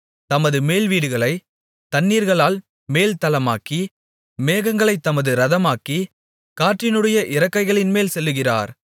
தமது மேல்வீடுகளைத் தண்ணீர்களால் மேல்தளமாக்கி மேகங்களைத் தமது இரதமாக்கி காற்றினுடைய இறக்கைகளின்மேல் செல்லுகிறார்